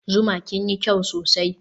zuma kinyi kyau sosai